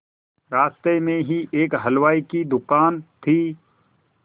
रास्ते में ही एक हलवाई की दुकान थी